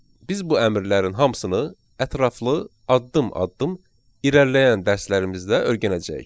Biz bu əmrlərin hamısını ətraflı, addım-addım irəliləyən dərslərimizdə öyrənəcəyik.